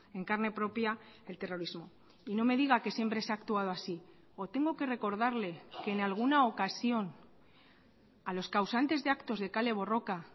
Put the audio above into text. en carne propia el terrorismo y no me diga que siempre se ha actuado así o tengo que recordarle que en alguna ocasión a los causantes de actos de kale borroka